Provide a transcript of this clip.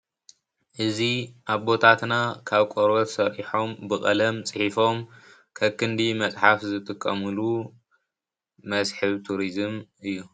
እዙይ ኣቦታትና ካብ ቆርቦት ሰሪሖም ብቀለም ፅሒፎም ከክንዲ መፅሓፍ ዝጥቀሙሉ መስሕብ ቱሪዝም እዩ።